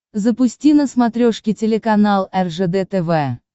запусти на смотрешке телеканал ржд тв